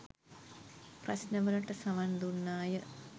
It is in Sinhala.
ප්‍රශ්නවලට සවන් දුන්නාය